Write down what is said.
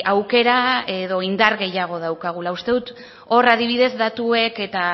aukera edo indar gehiago daukagula uste dut hor adibidez datuek eta